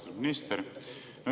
Austatud minister!